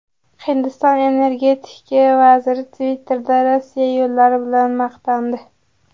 Hindiston energetika vaziri Twitter’da Rossiya yo‘llari bilan maqtandi.